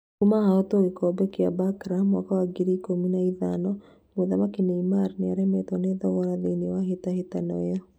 Kuma ahotwo gĩkombe kĩu kĩa Barca mwaka wa ngiri igĩrĩ ikũmi na ithano, mũthaki Neymar nĩaremetwo nĩ thogora thĩinĩ wa hĩtahĩtano ĩyo